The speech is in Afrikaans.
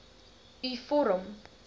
u vorm